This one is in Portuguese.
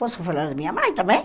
Posso falar da minha mãe também?